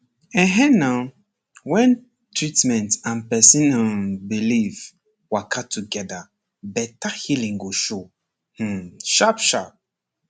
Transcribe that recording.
ehn en na when treatment and person um belief waka together better healing go show um sharp sharp